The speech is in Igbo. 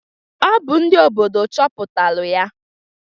Ọ bụ ndị obodo chọpụtalụ ya.